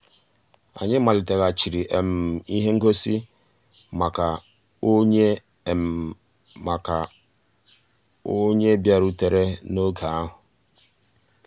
ànyị́ màlìtéghàchíré um íhé ngósì màkà um ónyé màkà um ónyé bìàrùtérè n'ògé ahụ́.